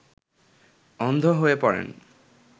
অন্ধ হয়ে পড়েন